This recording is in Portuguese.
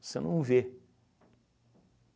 Você não vê.